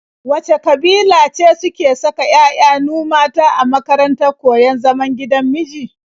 Wace ƙabila ce suke saka 'ya'yanu mata a makarantar koyon zaman gidan miji?